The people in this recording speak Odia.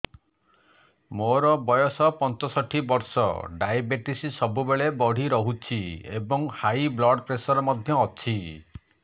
ମୋର ବୟସ ପଞ୍ଚଷଠି ବର୍ଷ ଡାଏବେଟିସ ସବୁବେଳେ ବଢି ରହୁଛି ଏବଂ ହାଇ ବ୍ଲଡ଼ ପ୍ରେସର ମଧ୍ୟ ଅଛି